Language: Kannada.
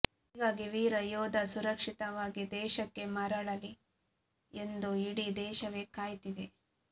ಹೀಗಾಗಿ ವೀರ ಯೋಧ ಸುರಕ್ಷಿತವಾಗಿ ದೇಶಕ್ಕೆ ಮರಳಲಿ ಎಂದು ಇಡೀ ದೇಶವೆ ಕಾಯ್ತಿದೆ